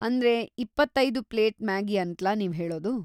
ಅಂದ್ರೆ ಇಪ್ಪತ್ತೈದು plate Maggi ಅಂತ್ಲಾ ನೀವ್ಹೇಳೋದು?